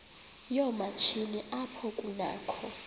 yoomatshini apho kunakho